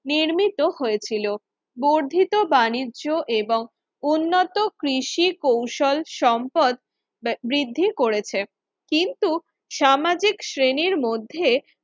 নির্মিত হয়েছিল বর্ধিত বাণিজ্য এবং উন্নত কৃষি কৌশল সম্পদ বৃদ্ধি করেছে কিন্তু সামাজিক শ্রেণীর মধ্যে